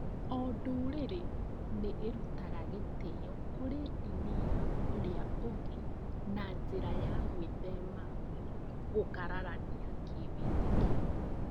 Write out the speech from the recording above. O ndũrĩrĩ nĩ ĩrutaga gĩtĩo kũrĩ ndini ya ũrĩa ũngĩ na njĩra ya gwĩthema gũkararania kĩwĩĩtĩkio.